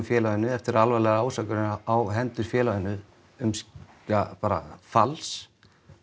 félaginu eftir alvarlegar ásakanir á hendur félaginu um ja bara fals